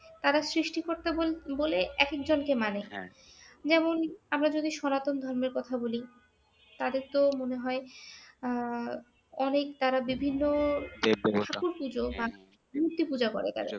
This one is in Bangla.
তারা সৃষ্টিকর্তা বল বলে একেক জনকে মানে যেমন আমরা যদি সনাতন ধর্মের কথা বলি তাদের তো মনে হয় আহ অনেক তারা বিভিন্ন পুতুল পূজো বা মূর্তি পূজো করে তারা।